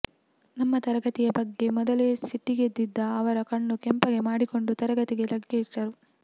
ನಮ್ಮ ತರಗತಿಯ ಬಗ್ಗೆ ಮೊದಲೇ ಸಿಟ್ಟಿಗೆದ್ದಿದ್ದ ಅವರು ಕಣ್ಣು ಕೆಂಪಗೆ ಮಾಡಿಕೊಂಡು ತರಗತಿಗೆ ಲಗ್ಗೆಯಿಟ್ಟರು